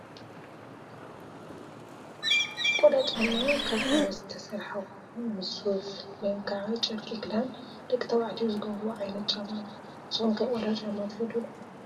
ቆዳ ጫማ ካብ ቆርበት ዝተሰረሓ ኮይኑ ምስ ሱፍ /ጨርቂ/ ክዳን ደቂ ተባዕትዮ ዝገብርዎ ዓይነት ጫማ እዩ። ንስኩም ከ ቆዳ ጫማ ትፈትው ዶ ?